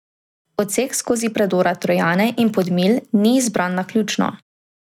Odsek skozi predora Trojane in Podmilj ni bil izbran naključno.